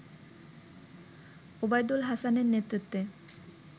ওবায়দুল হাসানের নেতৃত্বে